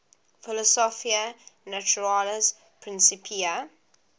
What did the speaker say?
philosophiae naturalis principia